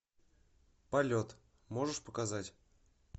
полет можешь показать